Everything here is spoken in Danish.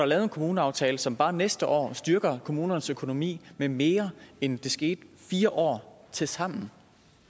lavet en kommuneaftale som bare næste år styrker kommunernes økonomi med mere end det skete i fire år tilsammen